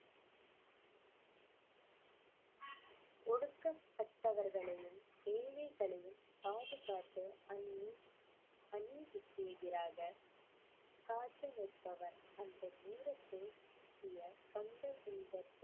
ஒடுக்கப்பட்டவர்களையும் ஏழைகளையும் பாதுகாத்த அநீ~ அநீதிக்கு எதிராக காத்து நிற்பவர் அந்த நேரத்தில் வந்த இந்த